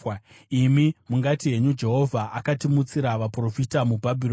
Imi mungati henyu, “Jehovha akatimutsira vaprofita muBhabhironi,”